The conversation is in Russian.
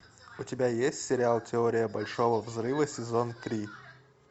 у тебя есть сериал теория большого взрыва сезон три